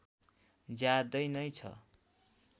ज्यादै नै छ